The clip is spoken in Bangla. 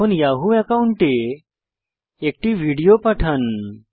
এখন ইয়াহু একাউন্টে একটি ভিডিও পাঠান